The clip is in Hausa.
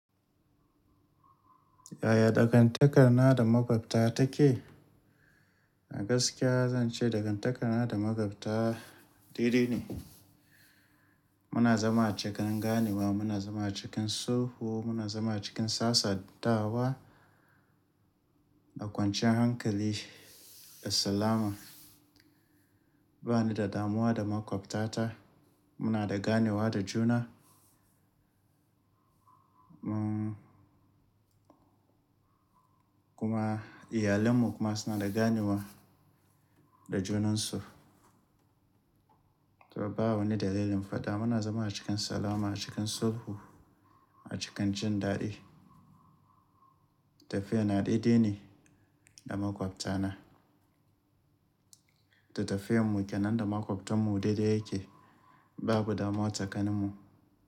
Yaya dangantakar na da maƙwabta take? A gaskiya zan ce dangantakar na da maƙwabta, dai-dai ne. Muna zama a cikin ganewa, muna zama a cikin sulhu, muna zama a cikin sassantawa da kwanciyar hankali da salama. Ba ni da damuwa da maƙwabtata, muna da ganewa da juna. Mun, kuma iyalan mu kuma suna da ganewa da junansu. Toh, ba wani dalilin fada muna zama a cikin salama, a cikin sulhu, a cikin jin daɗi. Tafiya na daidai ne da maƙwabta na. Da tafiyar mu kenan da maƙwabtan mu dai-dai yake babu damuwa tsakanin mu.